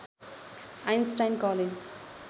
Einstein college